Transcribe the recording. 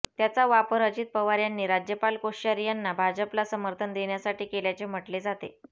त्याचा वापर अजित पवार यांनी राज्यपाल कोश्यारी यांना भाजपला समर्थन देण्यासाठी केल्याचे म्हटले जाते